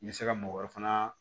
N bɛ se ka mɔgɔ wɛrɛ fana